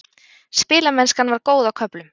Spilamennskan var góð á köflum.